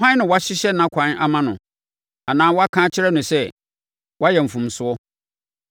Hwan na wahyehyɛ nʼakwan ama no anaa waka akyerɛ no sɛ, ‘Woayɛ mfomsoɔ.’